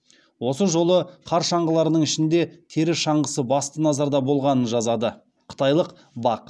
осы жолы қар шаңғыларының ішінде тері шаңғысы басты назарда болғанын жазады қытайлық бақ